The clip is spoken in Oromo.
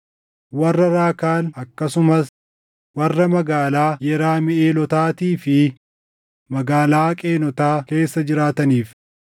warra Raakaal akkasumas warra magaalaa Yeramiʼeelotaatii fi magaalaa Qeenotaa keessa jiraataniif,